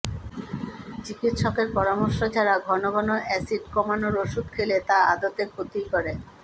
চিকিৎসকের পরামর্শ ছাড়া ঘন ঘন অ্যাসিড কমানোর ওষুধ খেলে তা আদতে ক্ষতিই করে